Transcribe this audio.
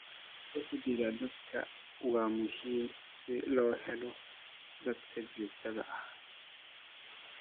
Uhdhigga dadweynaha waa muhiim si loo helo xalka joogtada ah.